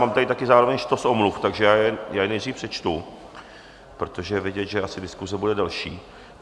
Mám tady taky zároveň štos omluv, takže já je nejdřív přečtu, protože je vidět, že asi diskuse bude delší.